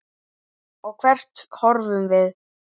Og hvert horfum við?